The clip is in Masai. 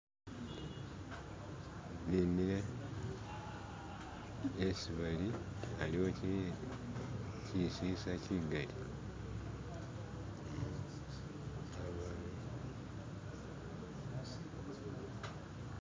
Bimile esi bali aliwo chisisa chigali